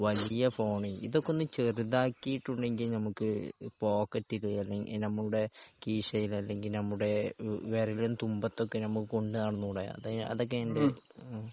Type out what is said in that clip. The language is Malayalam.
വലിയ ഫോൺ ഇതൊക്കെ ഒന്ന് ചെറുതാക്കിയിട്ടുണ്ടെങ്കിൽ നമുക്ക് പോക്കറ്റിൽ അല്ലെങ്കിൽ നമ്മുടെ കീശയിൽ അല്ലെങ്കിൽ നമ്മുടെ വിരലിൻ തുമ്പത്തൊക്കെ നമുക്ക് കൊണ്ട് നടന്നൂടെ അതൊക്കെ എന്ത് ഹ്മ്